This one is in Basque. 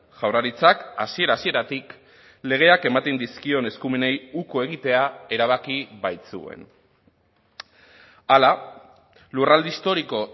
jaurlaritzak hasiera hasieratik legeak ematen dizkion eskumenei uko egitea erabaki baitzuen hala lurralde historiko